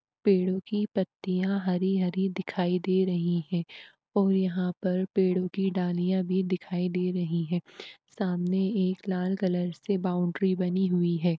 पेड़ों की पत्तियां हरी हरी दिखाई दे रही हैं और यहां पर पेड़ों की डालियां भी दिखाई दे रही हैं सामने एक लाल कलर से बाउंड्री बनी हुई है।